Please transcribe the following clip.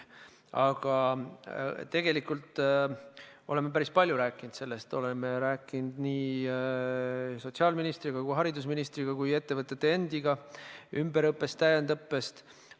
Aga tegelikult me oleme päris palju sellest rääkinud – oleme rääkinud nii sotsiaalministri, haridusministri kui ka ettevõtete endiga ümberõppest ja täiendusõppest.